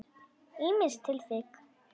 Ýmis tilvik.